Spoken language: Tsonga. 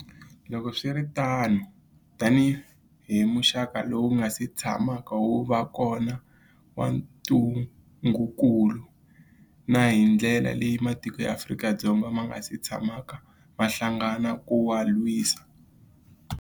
Loko swi ri tano, tanihi muxaka lowu wu nga si tshamaka wu va kona wa ntungukulu, na hi ndlela leyi matiko ya Afrika ma nga si tshamaka ma hlangana ku wu lwisa.